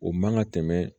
O man ka tɛmɛ